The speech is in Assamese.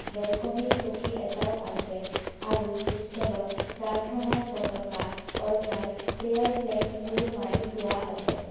বেলকনিত চকী এটাও আছে আৰু হোষ্টেলত প্ৰাৰ্থনাৰ পতকা অৰ্থাৎ প্ৰেয়াৰ ফ্লেগছ ওলোমাই থোৱা আছে।